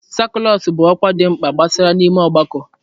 sakụlas bụ ọkwa dị mkpa gbasara n'ime ọgbakọ.